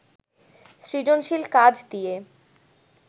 সৃজনশীল কাজ দিয়ে